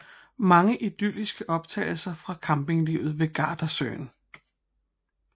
Mange idylliske optagelser fra campinglivet ved Gardasøen